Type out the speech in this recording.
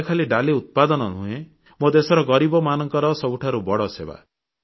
ଏହା ଖାଲି ଡାଲି ଉତ୍ପାଦନ ନୁହେଁ ମୋ ଦେଶର ଗରିବମାନଙ୍କର ସବୁଠାରୁ ବଡ଼ ସେବା